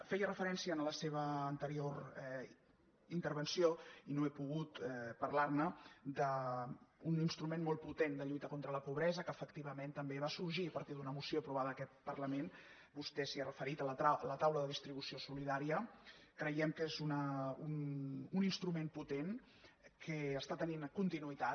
feia referència en la seva anterior intervenció i no he pogut parlar·ne a un instrument molt potent de lluita contra la pobresa que efectivament també va sorgir a partir d’una moció aprovada en aquest parlament vostè s’hi ha referit la taula de distribució solidà·ria creiem que és un instrument potent que està te·nint continuïtat